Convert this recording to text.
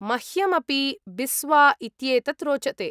मह्यम् अपि बिस्वा इत्येतत् रोचते।